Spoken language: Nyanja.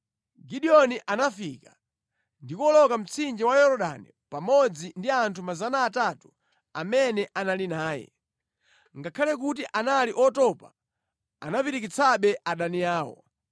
Gideoni anafika ndi kuwoloka mtsinje wa Yorodani pamodzi ndi anthu 300 amene anali naye. Ngakhale kuti anali otopa anapirikitsabe adani awo.